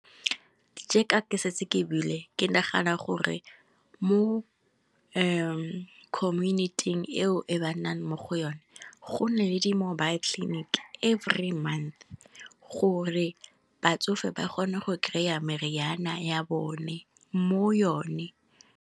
Jeka ke setse ke buile, ke nagana gore mo community-ing eo e ba nnang mo go yone, go nne le di mobile clinic every month go re batsofe ba kgone go kry-a meriana ya bone, mo yone.